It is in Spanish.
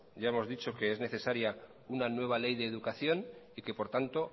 ya hemos dicho que es necesaria una nueva ley de educación y que por lo tanto